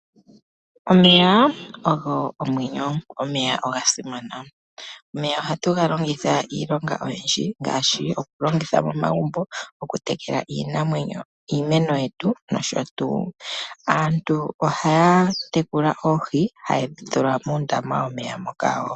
Omeya ogo omwenyo. Omeya oga simana. Omeya ohatu ga longitha iilonga oyindji ngaashi okulongitha momagumbo, okutekela iimeno yetu nosho tuu. Aantu ohaya tekula oohi, ha yedhi tula muundama womeya moka wo.